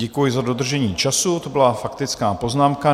Děkuji za dodržení času, to byla faktická poznámka.